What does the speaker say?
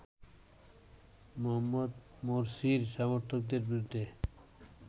মোহাম্মদ মোরসির সমর্থকদের বিরুদ্ধে